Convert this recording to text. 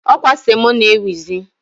Ọ kwa semo na-ewuzi.